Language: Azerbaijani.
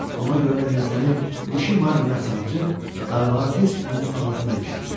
Ona görə də nizəni dişi marlinə sancıb, qarmağa tez onun ağzına ilişdirmişdi.